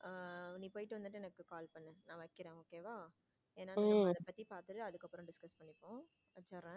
நீ போயிட்டு வந்துட்டு எனக்கு call பண்ணு நான் வைக்கிறேன் okay வா ஏன்னா அத பத்தி பாத்துட்டு அடுத்த discuss பண்ணிப்போம் வைசுறேன்.